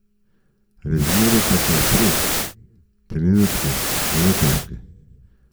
Razmere pa so v trem trenutku zelo težke.